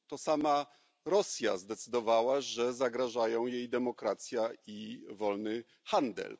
To sama Rosja zdecydowała, że zagrażają jej demokracja i wolny handel.